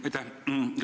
Aitäh!